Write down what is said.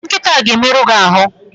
Nkịta a ga-emerụ gi ahụ!